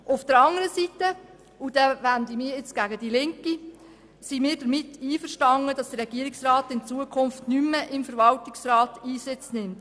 Auf der anderen Seite – und ich wende mich damit gegen die Linke – sind wir einverstanden damit, dass der Regierungsrat nicht mehr im Verwaltungsrat Einsitz nimmt.